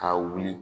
K'a wuli